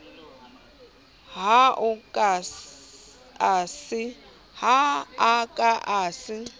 ha a ka a se